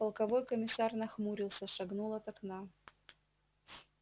полковой комиссар нахмурился шагнул от окна